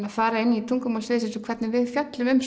að fara inn í tungumál sviðsins og hvernig við fjöllum um